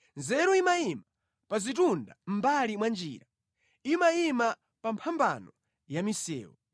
Nzeru imayima pa zitunda mʼmbali mwa njira, imayima pa mphambano ya misewu.